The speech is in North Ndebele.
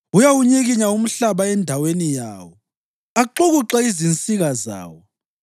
Uyawunyikinya umhlaba endaweni yawo, axukuxe izinsika zawo.